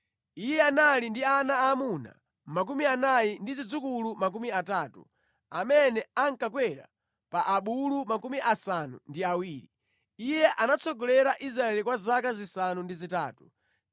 Iye anali ndi ana aamuna makumi anayi ndi zidzukulu makumi atatu, amene ankakwera pa abulu 70. Iye anatsogolera Israeli kwa zaka zisanu ndi zitatu.